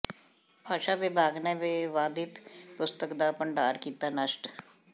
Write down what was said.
ਭਾਸ਼ਾ ਵਿਭਾਗ ਨੇ ਵਿਵਾਦਿਤ ਪੁਸਤਕ ਦਾ ਭੰਡਾਰ ਕੀਤਾ ਨਸ਼ਟ